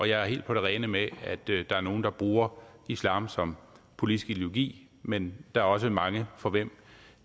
jeg er helt på det rene med at der er nogle der bruger islam som politisk ideologi men der er også mange for hvem